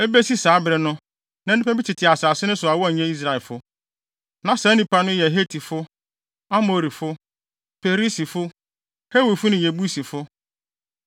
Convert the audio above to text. Ebesi saa bere no, na nnipa bi tete asase no so a wɔnyɛ Israelfo. Na saa nnipa no yɛ Hetifo, Amorifo, Perisifo, Hewifo ne Yebusifo.